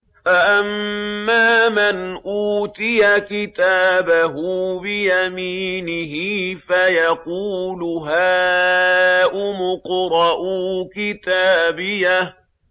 فَأَمَّا مَنْ أُوتِيَ كِتَابَهُ بِيَمِينِهِ فَيَقُولُ هَاؤُمُ اقْرَءُوا كِتَابِيَهْ